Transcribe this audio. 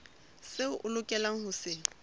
seo o lokelang ho se